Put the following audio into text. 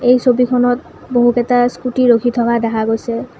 এই ছবিখনত বহুকেটা স্কুটী ৰখি থকা দেখা গৈছে।